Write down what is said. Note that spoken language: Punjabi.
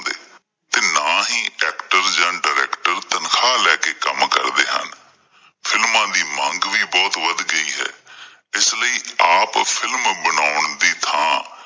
ਨਾ ਹੀ ਜਾਂ director ਤਨਖ਼ਾਹ ਲੈ ਕੇ ਕੰਮ ਕਰਦੇ ਹਨ films ਦੀ ਮੰਗ ਵੀ ਬਹੁਤ ਵੱਧ ਗਈ ਹੈ ਅਹ ਇਸ ਲਈ ਆਪ films ਬਣਾਉਂਣ ਦੀ ਥਾਂ